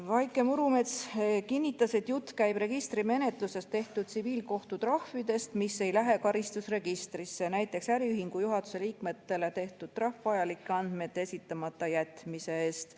Vaike Murumets kinnitas, et jutt käib registrimenetluses tehtud tsiviilkohtu trahvidest, mis ei lähe karistusregistrisse, näiteks äriühingu juhatuse liikmetele tehtud trahv vajalike andmete esitamata jätmise eest.